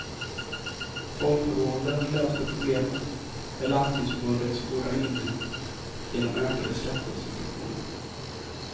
Folktandvården löste problemet, med landstingsförbundets goda minne, genom ökade skattesubventioner.